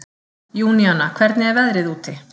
Júníana, hvernig er veðrið úti?